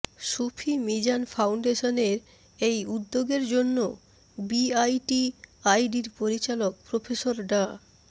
সূফী মিজান ফাউন্ডেশনের এই উদ্যোগের জন্য বিআইটিআইডির পরিচালক প্রফেসর ডা